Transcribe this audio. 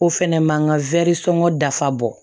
O fɛnɛ ma n ka sɔngɔ dafa